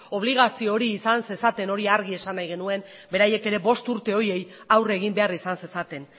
obligazio hori izan zezaten hori argi esan nahi genuen beraiek ere bost urte horiei aurre egin behar izan zezaten